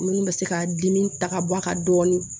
Minnu bɛ se ka dimi ta ka bɔ a kan dɔɔni